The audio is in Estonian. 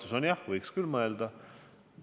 Vastus on: jah, selle üle võiks küll mõelda.